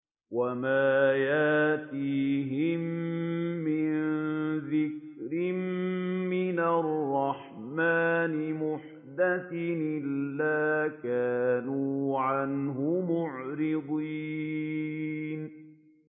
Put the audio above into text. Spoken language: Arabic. وَمَا يَأْتِيهِم مِّن ذِكْرٍ مِّنَ الرَّحْمَٰنِ مُحْدَثٍ إِلَّا كَانُوا عَنْهُ مُعْرِضِينَ